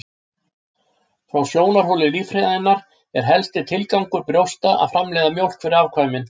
Frá sjónarhóli líffræðinnar er helsti tilgangur brjósta að framleiða mjólk fyrir afkvæmin.